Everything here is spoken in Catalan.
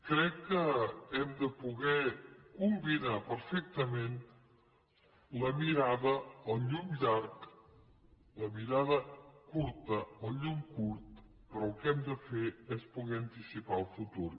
crec que hem de poder combinar perfectament la mirada el llum llarg la mirada curta el llum curt però el que hem de fer és poder anticipar el futur